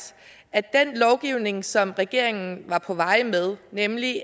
at at den lovgivning som regeringen var på vej med nemlig